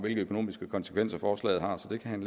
hvilke økonomiske konsekvenser forslaget har så det kan han